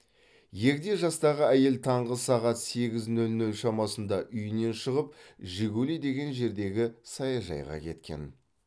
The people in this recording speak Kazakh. егде жастағы әйел таңғы сағат сегіз нөл нөл шамасында үйінен шығып жигули деген жердегі саяжайға кеткен